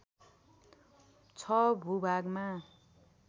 ६ भूभागमा